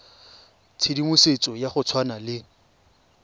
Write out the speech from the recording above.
tshedimosetso ya go tshwana le